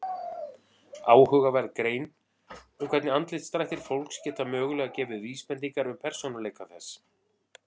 Áhugaverð grein um hvernig andlitsdrættir fólks geta mögulega gefið vísbendingar um persónuleika þess.